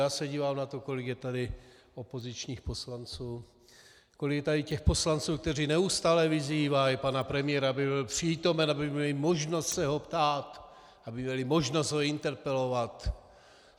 Já se dívám na to, kolik je tady opozičních poslanců, kolik je tady těch poslanců, kteří neustále vyzývají pana premiéra, aby byl přítomen, aby měli možnost se ho ptát, aby měli možnost ho interpelovat.